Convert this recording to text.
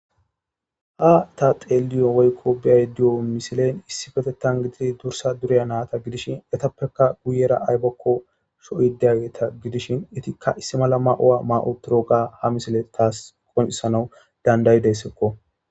Ha ta xeelliya woyiko beyiyo misiley issipetetha gididi durisa duriyo nata ayibako soyidi gidishin etika issi mala ma'uwa ma'i utidoga ha misileyi tawu qoncisides.